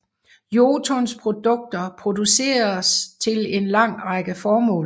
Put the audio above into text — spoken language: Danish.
Jotuns produkter produceres til en lang række formål